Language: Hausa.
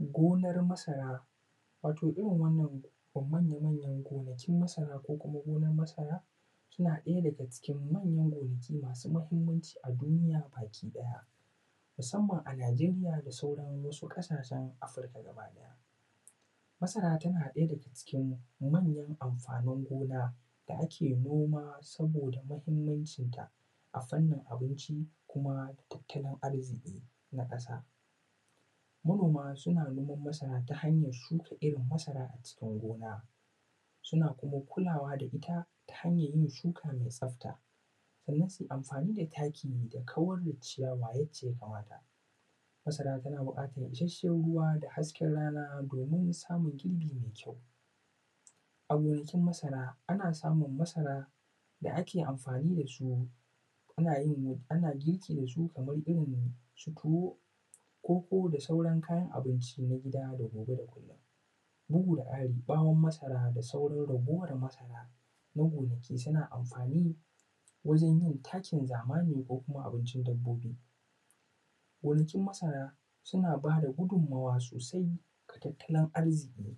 Gonar masara, wato irin wannan manya manyan gonakin masara ko kuma gonan masara suna ɗaya daga cikin manyan gonaki masu mahimmanci a duniya baki ɗaya, masamman a najeriya da sauran wasu ƙasashen afirika gaba ɗaya, masara tana ɗaya daga cikin manyan amfanin gona wanda ake noma saboda mahimmancin ta a fannin abinci kuma tattalin arziki na ƙasa manoma suna noman masra ta hanyan shuka irin masra a cikin gona suna kuma kulawa da ita ta hanyan shuka mai tsafta sannan su yi amfani da taki don kawar da ciyawa yanda ya kamata masara tana buƙatan ishashshen ruwa da hasken rana don samin girbi mai kyau a gonakin masara ana samin masara da ake amfani da su ana yin kayan abinci na gida da ana yin girki da su kaman su tuwo, koko, da sauran kayan abinci na gida da gobe da kullum, bugu da ƙari ɓawon masara da sauran ragowan masara suna amfani wajen yin takin zamani ko kuma abincin dabbobi, gonakin masara suna bada gudunmuwa sosai wajen tattalin arziki,